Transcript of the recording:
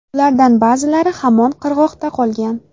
Ulardan ba’zilari hamon qirg‘oqda qolgan.